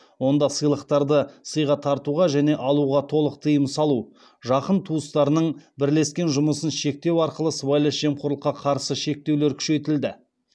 онда сыйлықтарды сыйға тартуға және алуға толық тыйым салу жақын туыстарының бірлескен жұмысын шектеу арқылы сыбайлас жемқорлыққа қарсы шектеулер күшейтілді